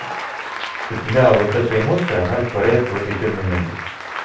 у тебя вот эта эмоция она растворяется в этой эфирной энергии